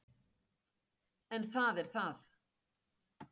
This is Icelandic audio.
En það er það.